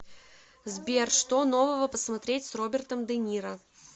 сбер что нового посмотреть с робертом дениро